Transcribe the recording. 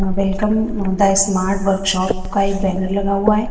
Welcome the smart workshop का एक banner लगा हुआ है।